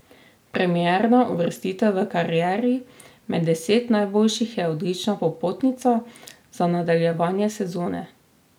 Premierna uvrstitev v karieri med deset najboljših je odlična popotnica za nadaljevanje sezone.